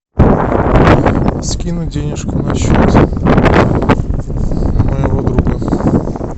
скинуть денежку на счет моего друга